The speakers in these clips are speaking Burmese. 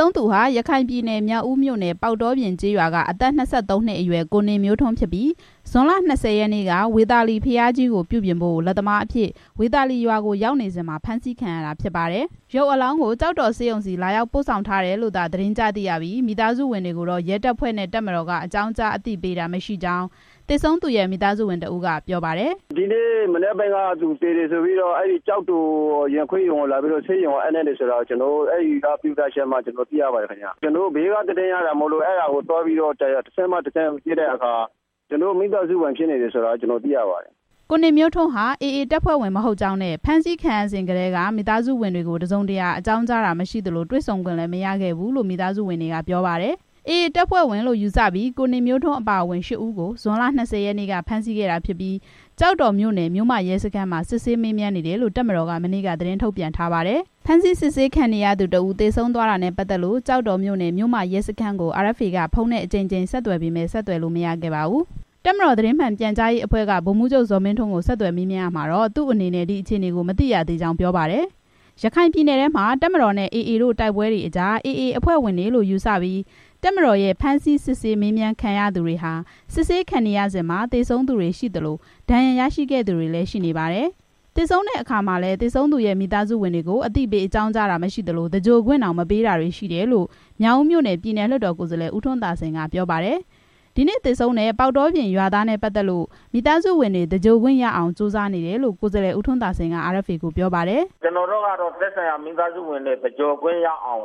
ဆုံးသူဟာ ရခိုင်ပြည်နယ် မြောက်ဦးမြို့နယ် ပေါက်တောပြင်ကျေးရွာက အသက် ၂၃ နှစ်အရွယ် ကိုနေမျိုးထွန်း ဖြစ်ပြီး ဇွန်လ ၂၀ ရက်နေ့က ဝေသာလီဘုရားကြီးကို ပြုပြင်ဖို့ လက်သမားအဖြစ် ဝေသာလီရွာကို ရောက်ရှိနေစဉ် ဖမ်းဆီးခံရတာဖြစ်ပါတယ်။ ရုပ်အလောင်းကို ကျောက်တော်ဆေးရုံဆီ လာရောက်ပို့ဆောင်ထားတယ်လို့သာ သတင်းကြားသိရပြီး မိသားစုဝင်တွေကိုတော့ ရဲတပ်ဖွဲ့နဲ့ တပ်မတော်က အကြောင်းကြားအသိပေးတာ မရှိကြောင်း သေဆုံးသူရဲ့ မိသားစုဝင်တစ်ဦးက ပြောပါတယ်။ "ဒီနေ့ မနက်ပိုင်းက သူ သေတယ်ဆိုပြီး ကျောက်တော်ဆေးရုံ ရင်ခွဲရုံကို လာအပ်လိုက်တယ်လို့ ကျနော်တို့ သိရပါတယ်။ ဘေးက သတင်းရတာမို့ပါ ကျနော်တို့ တဆင့်ပြီးတဆင့် စုံစမ်းကြည့်တဲ့အခါ ကျနော်တို့ မိသားစုဝင်ဆိုတာ သိရပါတယ်" ကိုနေမျိုးထွန်းဟာ AA တပ်ဖဲ့ွဝင် မဟုတ်ကြောင်း နဲ့ ဖမ်းဆီးစဉ်ကတည်းက မိသားစုဝင်တွေကို တစ်စုံတစ်ရာ အကြောင်းကြားတာမရှိသလို တေ့ွဆုံခွင့်လည်း မရခဲ့ဘူးလို့ ဆိုပါတယ်။ AA တပ်ဖွဲ့ဝင်လို့ ယူဆပြီး ကိုနေမျိုးထွန်းအပါအဝင် ရှစ်ဦးကို ဇွန်လ ၂၀ ရက်နေ့က ဖမ်းဆီးခဲ့တာဖြစ်ပြီး ကျောက်တော်မြို့နယ် မြို့မရဲစခန်းမှာ စစ်ဆေးမေးမြန်းနေတယ်လို့ တပ်မတော်က မနေ့က သတင်းထုတ်ပြန် ထားပါတယ်။ စစ်ဆေးခံနေရသူတစ်ဦး သေဆုံးသွားတာနဲ့ပတ်သက်လို့ ကျောက်တော်မြို့နယ် မြို့မရဲစခန်းကို RFA က ဖုန်းနဲ့အကြိမ်ကြိမ် ဆက်သွယ်ပေမယ့် ဆက်သွယ်လို့မရပါဘူး။ တပ်မတော်သတင်းမှန်ပြန်ကြားရေးအဖဲ့ွက ဗိုလ်မှူးချုပ် ဇော်မင်းထွန်းကို ဆက်သွယ်မေးမြန်းရာမှာတော့ သူ့အနေနဲ့ မသိရသေးကြောင်း ပြောပါတယ်။ ရခိုင်ပြည်နယ်ထဲမှာ တပ်မတော်နဲ့ AA တို့ တိုက်ပွဲတွေအကြား AA အဖွဲ့ဝင်တွေလို့ ယူဆပြီး တပ်မတော်ရဲ့ ဖမ်းဆီးစစ်ဆေးမေးမြန်းခံရသူတွေဟာ စစ်ဆေးခံနေရစဉ် သေဆုံးသူတွေရှိသလို ဒဏ်ရာရရှိခဲ့သူတွေလည်း ရှိနေပါတယ်။ အဲဒီလိုသေဆုံးတဲ့အခါမှာလည်း သေဆုံးသူရဲ့မိသားစုဝင်တွေကို အသိပေး အကြောင်းကြားတာမရှိသလို၊ သြင်္ဂိုဟ်ခွင့်တောင် မပေးတာတွေ ရှိတယ်လို့ မြောက်ဦးမြို့နယ် ပြည်နယ်လွှတ်တော် ကိုယ်စားလှယ် ဦးထွန်းသာစိန် က ပြောပါတယ်။ ဒီနေ့ သေဆုံးတဲ့ ပေါက်တောပြင်ရွာသားနဲ့ပတ်သက်လို့ မိသားစုဝင်တွေ သြင်္ဂိုဟ်ခွင့်ရအောင် ကြိုးစားနေတယ်လို့ ကိုယ်စားလှယ် ဦးထွန်းသာစိန်က ပြောပါတယ်။ "ကျနော်တို့ကတော့ သက်ဆိုင်ရာ မိသားစုဝင်တွေ သြင်္ဂိုဟ်ခွင့်ရအောင်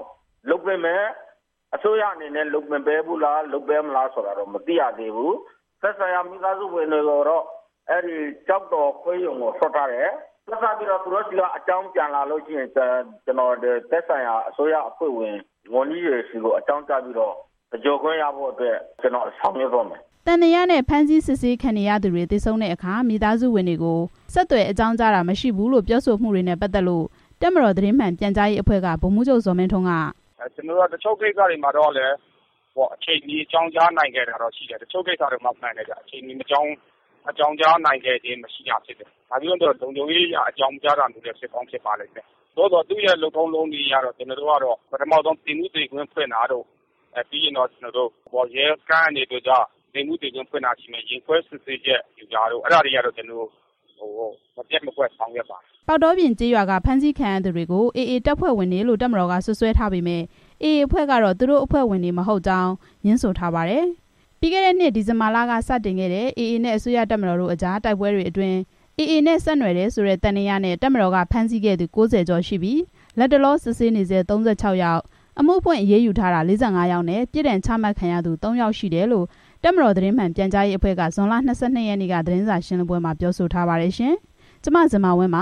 လုပ်ပေးမယ်။ အစိုးရအနေနဲ့ လုပ်ပေး မလား မလုပ်ပေးဘူးလား ဆိုတာ မသိရသေးဘူး။ သက်ဆိုင်ရာမိသားစုဝင်တွေဆီက အကြောင်းပြန်လာရင် အစိုးရအဖွဲ့ဝင် ဝန်ကြီးတွေဆီ အကြောင်းကြားပြီး သဂြိုလ်ခွင့်ရအောင် ဆောင်ရွက်သွားမယ်" သံသယနဲ့ ဖမ်းဆီးစစ်ဆေးခံနေရသူတွေ သေဆုံးတဲ့အခါ မိသားစုဝင်တွေကို ဆက်သွယ်အကြောင်းကြားတာ မရှိဘူးလို့ ပြောဆိုမှုတွေနဲ့ပတ်သက်လို့ တပ်မတော်သတင်းမှန်ပြန်ကြားရေးအဖွဲ့က ဗိုလ်မှူးချုပ် ဇော်မင်းထွန်းက "တချို့ကိစ္စတွေမှာတော့ ကျနော်တို့ အချိန်မီ အကြောင်းကြားနိုင် ခဲ့တယ်။ တချို့ကိစ္စတွေမှာတော့ အချိန်မီ အကြောင်းကြားနိုင်ခဲ့ခြင်း မရှိဘူး။ မှန်တယ်ဗျ။ လုံခြုံရေးအရ အကြောင်းမကြားတာလည်း ဖြစ်ကောင်းဖြစ်နိုင်ပါတယ်ဗျ။ လုပ်ထုံးလုပ်နည်းအရတော့ ပထမဆုံး သေမှုသေခင်းဖွင့်တာရှိမယ်၊ ရင်ခွဲစစ်ဆေးချက်ယူတာရှိမယ်၊ အဲဒါတွေတော့ ကျနော်တို့ မပျက်မကွက် ဆောင်ရွက်ပါတယ်" ပေါက်တောပြင်ကျေးရွာက ဖမ်းဆီးခံရသူတွေကို AA တပ်ဖွဲ့ဝင်တွေလို့ တပ်မတော်က စွပ်စွဲထားပေမယ့် AA အဖွဲ့ကတော့ သူတို့အဖွဲ့ဝင်တွေ မဟုတ်ကြောင်း ငြင်းဆိုပါတယ်။ ပြီးခဲ့တဲ့နှစ် ဒီဇင်ဘာလက စတင်ခဲ့တဲ့ AA နဲ့ အစိုးရတပ်မတော်တို့ အကြား တိုက်ပွဲတွေအတွင်း AA နဲ့ ဆက်နွယ်တယ်ဆိုတဲ့ သံသယနဲ့ တပ်မတော်က ဖမ်းဆီးခဲ့သူ ၉၀ကျော် ရှိပြီး၊ လတ်တလော စစ်ဆေးနေဆဲ ၃၆ ယောက်၊ အမှုဖွင့်အရေးယူထားတာ ၄၅ ယောက် နဲ့ ပြစ်ဒဏ်ချမှတ်ခံရသူ သုံး ယောက် ရှိတယ်လို့ တပ်မတော်သတင်းမှန်ပြန်ကြားရေးအဖွဲ့က ဇွန်လ ၂၂ ရက်နေ့ သတင်းစာရှင်းလင်းပွဲမှာ ထုတ်ပြန်ထားပါတယ်။ ( RFA သတင်းထောက် မဇင်မာဝင်း ပ